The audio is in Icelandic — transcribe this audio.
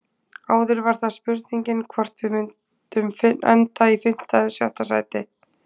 Áður var það spurningin hvort við myndum enda í fimmta eða sjötta sæti.